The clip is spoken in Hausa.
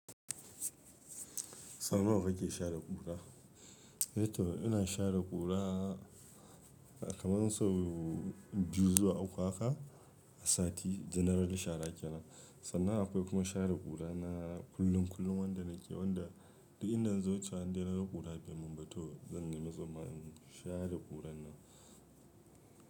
Sauna wa kake share ƙura? Eh toh ina share ƙura kamar so biyu zuwa uku haka a sati general share ke nan. Sannan akwai kuma share ƙura na kullum kullum wanda nake wanda duk inda na zo wucewa dai na ga ƙura bai mumbato zan nema tsunma in share ƙuran nan.